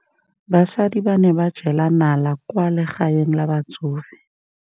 Basadi ba ne ba jela nala kwaa legaeng la batsofe.